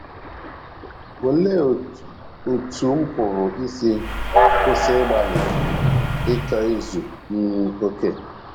Olee Otú M Pụrụ Isi Kwụsị Ịgbalị Ịchọ Izu um Okè?